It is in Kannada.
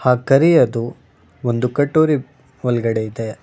ಆ ಕರೆಯತೂ ಒಂದು ಕಟೋರಿ ಒಲಗಡೆ ಐತೆ.